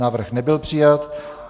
Návrh nebyl přijat.